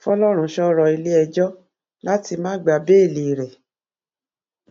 fọlọrunṣọ rọ iléẹjọ láti má gba béèlì rẹ